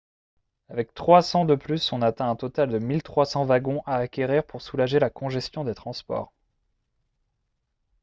avec 300 de plus on atteint un total de 1 300 wagons à acquérir pour soulager la congestion des transports